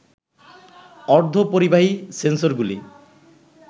অর্ধ পরিবাহী সেন্সরগুলি